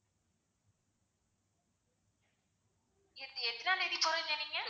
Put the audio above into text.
எத்தனாம் தேதி போறேன்னு சொன்னீங்க?